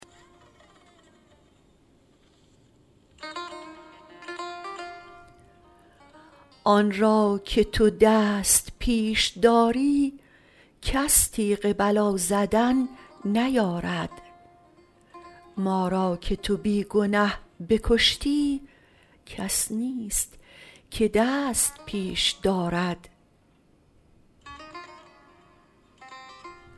آن را که تو دست پیش داری کس تیغ بلا زدن نیارد ما را که تو بی گنه بکشتی کس نیست که دست پیش دارد